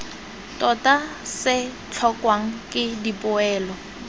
tota se tlhokwang ke dipoelo